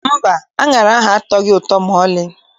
Mba, aṅara ahụ atọghị ụtọ maọlị.